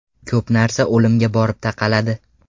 Ko‘p narsa o‘limga borib taqaladi.